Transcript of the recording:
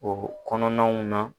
o kɔnɔnaw na